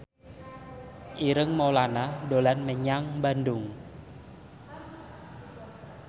Ireng Maulana dolan menyang Bandung